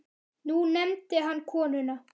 Nú nefndi hann konuna